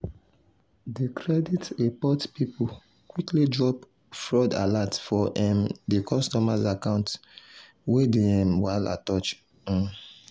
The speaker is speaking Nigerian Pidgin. the credit report people quickly drop fraud alert for um the customer account wey the um wahala touch. um